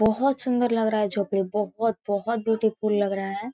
बहोत सुंदर लग रहा है झोपड़ी बहोत बहोत ब्यूटीफुल लग रहा है।